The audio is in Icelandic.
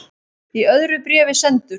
Í öðru bréfi sendur